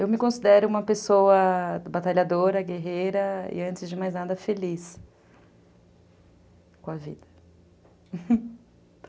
Eu me considero uma pessoa batalhadora, guerreira e, antes de mais nada, feliz com a vida.